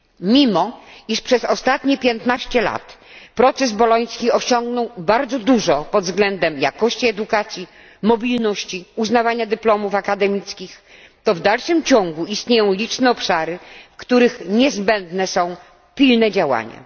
Mimo iż przez ostatnie 15 lat proces boloński osiągnął bardzo dużo pod względem jakości edukacji, mobilności, uznawania dyplomów akademickich, to w dalszym ciągu istnieją liczne obszary, w których niezbędne są pilne działania.